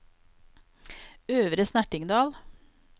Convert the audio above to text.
Øvre Snertingdal